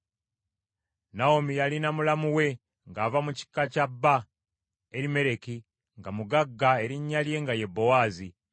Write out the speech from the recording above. Nawomi yalina mulamu we, ng’ava mu kika kya bba, Erimereki, nga mugagga, erinnya lye nga ye Bowaazi.